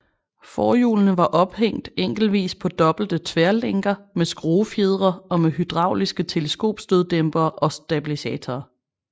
Forhjulene var ophæng enkeltvis på dobbelte tværlænker med skruefjedre og med hydrauliske teleskopstøddæmpere og stabilisatorer